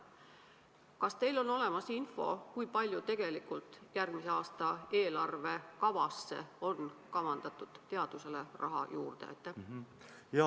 Kas teil on olemas info, kui palju tegelikult on järgmise aasta eelarve kavas plaanitud teadusele raha juurde anda?